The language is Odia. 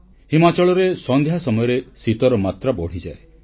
ହିମାଚଳ ପ୍ରଦେଶରେ ସନ୍ଧ୍ୟା ସମୟରେ ଶୀତର ମାତ୍ରା ବଢ଼ିଯାଏ